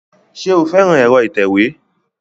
Ṣé o fẹ́ran ẹ̀rọ ìtẹ̀wé